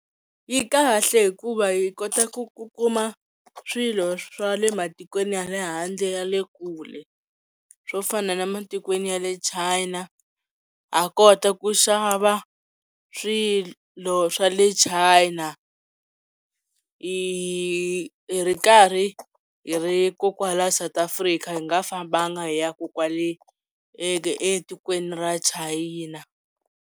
Yi kahle hikuva hi kota ku ku kuma swilo swa le matikweni ya le handle ya le kule swo fana na matikweni ya le China ha kota ku xava swilo swa le China hi ri karhi hi ri ko kwala South Africa hi nga fambanga hi ya ku kwale etikweni ra china.